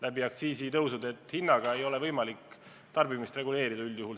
Hinnaga ei ole üldjuhul võimalik selliste kaupade tarbimist reguleerida.